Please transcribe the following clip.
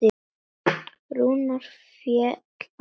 Rúnar fellst á þetta.